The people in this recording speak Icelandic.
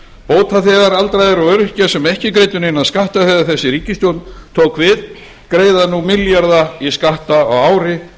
bótaþegar aldraðir og öryrkjar sem ekki greiddu neina skatta þegar þessi ríkisstjórn tók við greiða nú milljarða skatta á ári